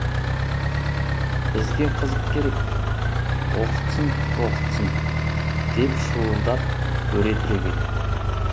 бізге қызық керек оқытсын оқытсын деп шуылдап өре түрегелдік